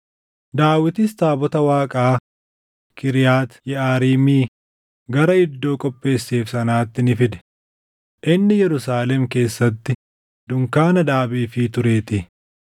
Daawitis taabota Waaqaa Kiriyaati Yeʼaariimii gara iddoo qopheesseef sanaatti ni fide; inni Yerusaalem keessatti dunkaana dhaabeefii tureetii.